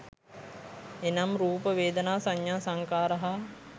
එනම්, රූප, වේදනා, සඤ්ඤා, සංඛාර හා